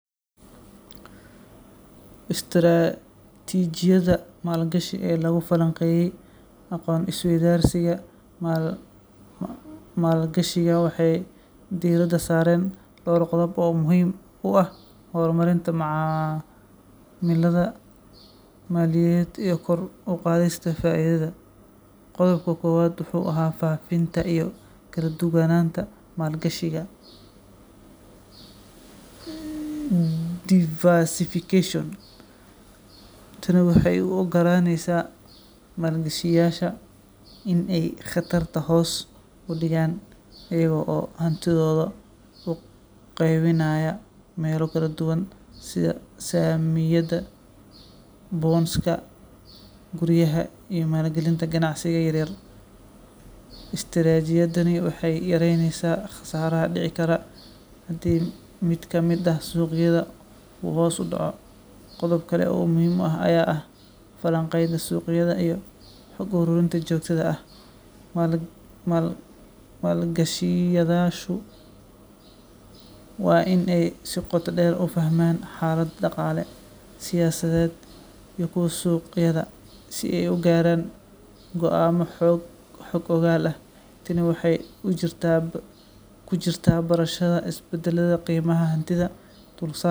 Istaraatiijiyadaha maalgashi ee lagu falanqeeyay aqoon-is-weydaarsiga maalgashiga waxay diiradda saareen dhowr qodob oo muhiim u ah horumarinta macaamillada maaliyadeed iyo kor u qaadista faa’iidada. Qodobka koowaad wuxuu ahaa faafinta iyo kala-duwanaanta maalgashiga diversification. Tani waxay u oggolaaneysaa maalgashadayaasha in ay khatarta hoos u dhigaan iyaga oo hantidooda u qaybinaya meelo kala duwan sida saamiyada, bonds-ka, guryaha, iyo maalgelinta ganacsiyada yaryar. Istaraatiijiyadani waxay yareyneysaa khasaaraha dhici kara haddii mid ka mid ah suuqyada uu hoos u dhaco. Qodob kale oo muhiim ah ayaa ahaa falanqaynta suuqyada iyo xog ururinta joogtada ah. Maalgashadayaashu waa in ay si qoto dheer u fahmaan xaaladaha dhaqaale, siyaasadeed iyo kuwa suuqyada si ay u gaaraan go’aamo xog ogaal ah. Tani waxay ku jirtaa barashada isbeddelada qiimaha hantida, dulsaarka,